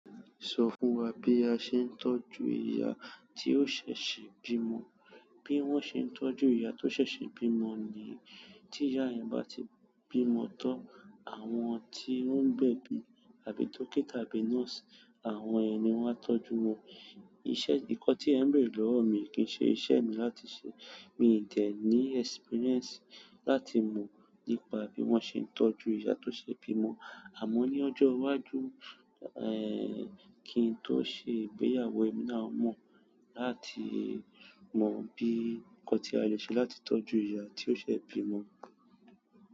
Sọ fún wa bí a ṣe ń tọ́jú ìyá ti ó ṣẹ̀ ṣe bímọ. Bí wón ṣe ń tọ́jú ìyá tó ṣẹ̀ ṣe bímọ ni tí ìyá yen bá ti bímọ tan, àwọn tí ó ń gbẹ̀bí àbí dókítà àbí nọ́ọ̀sì, àwọn yen ni wọ́n á tọ́jú wọn. Iṣẹ́ nkan ti e n bere lowo mi yìí, ki se iṣẹ́ mi láti se. Mi ì ti e ní experience láti mọ nípa bí wón ṣe ń tọ́jú yàtọ̀ sí bímọ. Àmọ́ ní ọjọ́ iwájú, ẹ́ kín tó ṣe ìgbéyàwó ẹmi náà a mọ̀ láti mọ̀ bí nkán tí a lè ṣe láti tọ́jú ìyá tí o ṣẹ̀ bímọ.